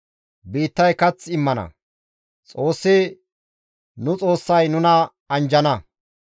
Biittay kath immana; Xoossi, nu Xoossay nuna anjjana.